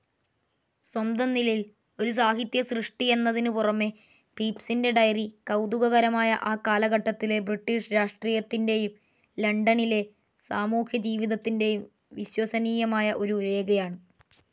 സ്വന്തംനിലയിൽ ഒരു സാഹിത്യസൃഷ്ടിയെന്നതിനുപുറമേ പീപ്സിന്റെ ഡയറി കൗതുകകരമായ ആ കാലഘട്ടത്തിലെ ബ്രിട്ടീഷ് രാഷ്ട്രീയത്തിന്റേയും ലണ്ടണിലെ സാമൂഹ്യജീവിതത്തിന്റേയും വിശ്വസനീയമായ ഒരു രേഖയാണ്.